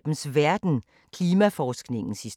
Samme programflade som øvrige dage